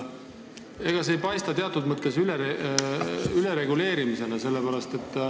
Ega see ei paista teatud mõttes ülereguleerimisena?